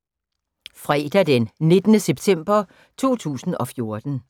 Fredag d. 19. september 2014